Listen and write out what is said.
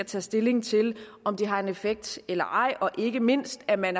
tage stilling til om de har en effekt eller ej og ikke mindst er man